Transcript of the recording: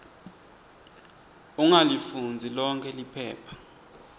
ungalifundzi lonkhe liphepha